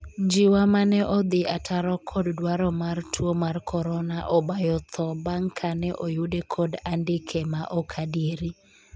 Njiwa 'mane odhi ataro kod dwaro mar tuo mar korona obayo tho bang' kane oyude kod andike ma ok adieri